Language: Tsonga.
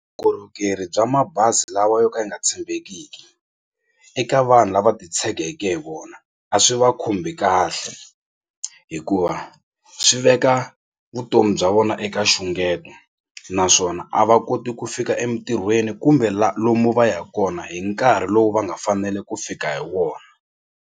Vukorhokeri bya mabazi lawa yo ka yi nga tshembekiki eka vanhu lava titshegeke hi wona a swi va khumbhi kahle hikuva swi veka vutomi bya vona eka nxungeta naswona a va koti ku fika emitirhweni kumbe lomu va yaka kona hi nkarhi lowu va nga fanele ku fika hi wona.